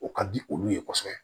O ka di olu ye kosɛbɛ